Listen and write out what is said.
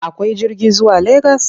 Akwai jirgi zuwa Legas?